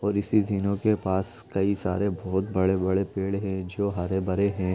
और इसी जिलो के पास कई सारे बहुत बड़े-बड़े पेड़ है जो हरे - भरे हैं।